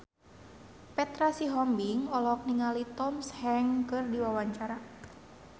Petra Sihombing olohok ningali Tom Hanks keur diwawancara